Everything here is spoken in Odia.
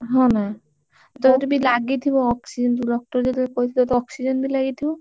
ହଁ ନା ତୋର ବି ଲାଗିଥିବ oxygen ତୁ ରକ୍ତ ଯେତେବେଳେ oxygen ବି ଲାଗିଥିବ।